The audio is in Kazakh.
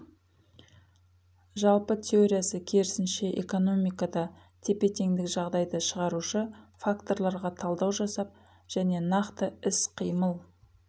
жалпы теориясы керісінше экономикада тепе теңдік жағдайды шығарушы факторларға талдау жасап және нақты іс қыймыл